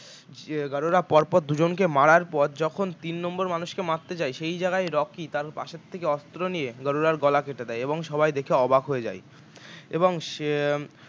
উম গাড়ুরা পরপর দু জনকে মারার পর যখন তিন নম্বর মানুষকে মারতে যায় সেই জায়গায় রকি তার পাশের থেকে অস্ত্র নিয়ে গাড়ুরার গলা কেটে দেয় এবং সবাই দেখে অবাক হয়ে যায় এবং সে